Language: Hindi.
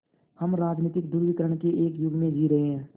हम राजनीतिक ध्रुवीकरण के एक युग में जी रहे हैं